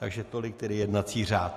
Takže tolik tedy jednací řád.